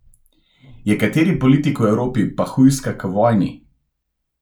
Ja kateri politik v Evropi pa hujska k vojni?